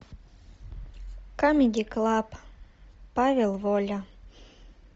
камеди клаб павел воля